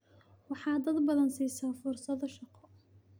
Waxaad dad badan siisaa fursado shaqo.